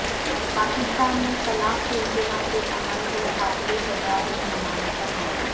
پاکستان میں طلاق ثلاثہ کے عمل کو قابل سزاء جرم بنانے پر غور